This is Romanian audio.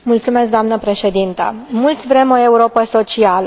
Doamnă Președintă, mulți vrem o Europă socială.